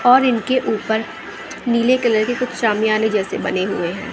और इनके ऊपर नीले कलर कुछ शामियाने जैसे बने हुए हैं।